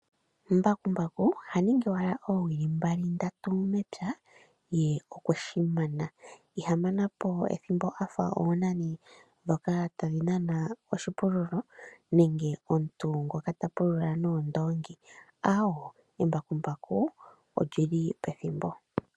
Mbakumbaku oha ningi owala oowili mbali, ndatu mepya ye okweshi mana. Iha manapo ethimbo afa oonani ndhoka tadhi nana oshipululo. Nenge omuntu ngoka ta pulula noondoongi. Embakumbaku olyili pethimbo.